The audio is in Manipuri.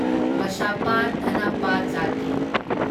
ꯕꯁꯥꯞꯄ ꯗꯥꯅꯥꯞꯄ ꯖꯥꯠꯇꯤ